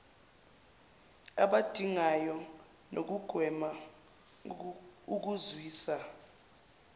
abadingayo nokugwema ukuzwisa